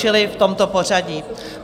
Čili v tomto pořadí.